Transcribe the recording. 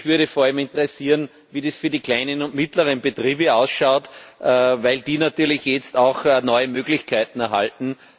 Mich würde vor allem interessieren, wie das für die kleinen und mittleren Betriebe ausschaut, weil die natürlich jetzt auch neue Möglichkeiten erhalten.